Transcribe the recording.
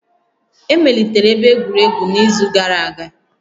Emelitere ebe egwuregwu n'izu gara aga